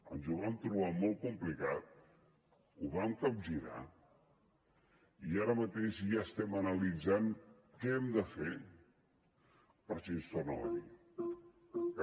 ens ho vam trobar molt complicat ho vam capgirar i ara mateix ja estem analitzant què hem de fer per si ens torna a venir